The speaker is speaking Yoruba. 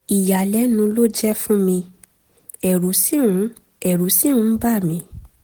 ìyàlẹ́nu ló jẹ́ fún mi ẹ̀rù sì ń ẹ̀rù sì ń bà mí